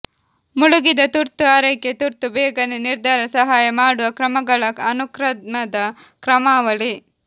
ಮುಳುಗಿದ ತುರ್ತು ಆರೈಕೆ ತುರ್ತು ಬೇಗನೆ ನಿರ್ಧಾರ ಸಹಾಯ ಮಾಡುವ ಕ್ರಮಗಳ ಅನುಕ್ರಮದ ಕ್ರಮಾವಳಿ